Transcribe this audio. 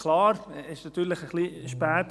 Klar, dieser Antrag kam etwas spät.